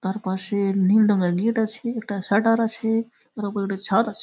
তার পাশে-এ নীল রঙের গেট আছে। একটা শাটার আছে-এ। তার উপরে উঠে ছাদ আছ--